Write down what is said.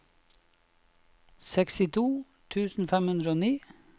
sekstito tusen fem hundre og ni